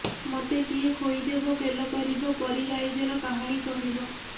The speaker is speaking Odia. ମୋତେ କିଏ ଖୋଇଦେବ ଗେଲ କରିବ ପରୀରାଇଜର କାହାଣୀ କହିବ